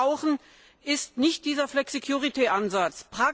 Was wir brauchen, ist nicht dieser Flexicurity Ansatz.